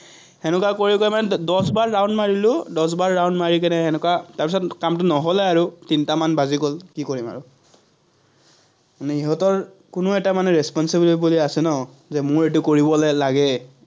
কৰি কৰি মানে দশবাৰ round মাৰিলো, দশবাৰ round মাৰি কেনে এনেকুৱা কামটো নহলে আৰু, তিনটামান বাজি গল, কি কৰিম আৰু। মানে সিহঁতৰ কোনো এটা মানে বুলি আছে ন, মোৰ এইটো কৰিবলে লাগে।